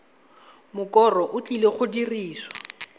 mokoro o tlileng go dirisiwa